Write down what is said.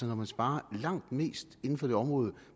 når man sparer langt mest inden for det område